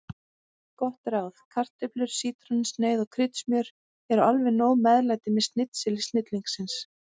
Gott ráð: Kartöflur, sítrónusneið og kryddsmjör eru alveg nóg meðlæti með snitseli snillingsins.